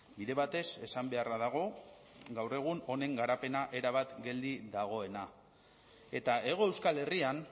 bide batez esan beharra dago gaur egun honen garapena erabat geldi dagoena eta hego euskal herrian